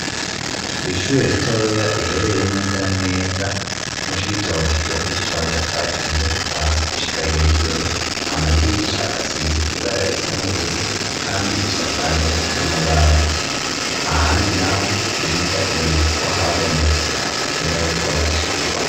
Ishure ritoya riherereye neza aneza mushibitookigewo kisise amatafari ahiye kuva hasi gushika hejuru amadirisha asize ibara risa n'ubururu kandi isakaje n'amabati ahandi naho yirya biboneka ko habomotse akenewe ko hasubigwamwo.